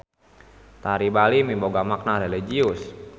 Tari Bali miboga makna religius.